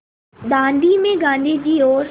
दाँडी में गाँधी जी और